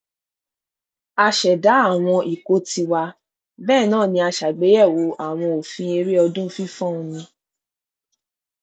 a ṣẹdá àwọn ikọ tiwa bẹẹ náà ni a ṣàgbéyẹwò àwọn òfin eré ọdún fífọn omi